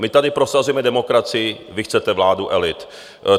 My tady prosazujeme demokracii, vy chcete vládu elit.